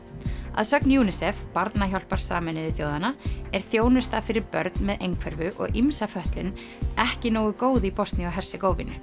að sögn UNICEF Barnahjálpar Sameinuðu þjóðanna er þjónusta fyrir börn með einhverfu og ýmsa fötlun ekki nógu góð í Bosníu og Hersegóvínu